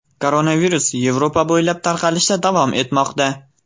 Koronavirus Yevropa bo‘ylab tarqalishda davom etmoqda.